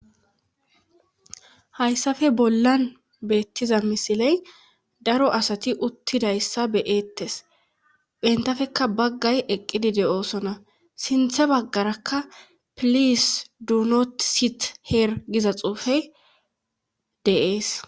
hayssafe bollan beettiza misiley daro asati uttidayssa beyeettes bentafeka baggay eqqidide oosona sinthe baggarakka pilis duunot sit heer giza xuufe deees